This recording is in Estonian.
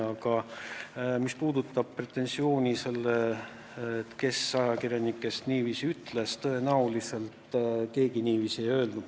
Aga mis puutub küsimusse, kes ajakirjanikest niiviisi ütles, siis tõenäoliselt keegi end niiviisi ei väljendanud.